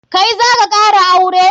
Kai zaka kara aure?